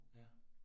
Ja